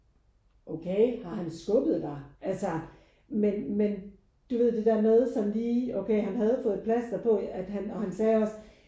Okay har han skubbet dig? Altså men men du ved det der med sådan lige okay han havde fået et plaster på at han og han sagde også